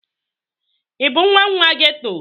Ị bụ nwa nwa geto?